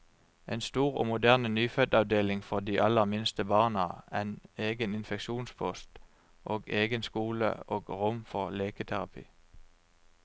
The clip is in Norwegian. En stor og moderne nyfødtavdeling for de aller minste barna, en egen infeksjonspost, og egen skole og rom for leketerapi.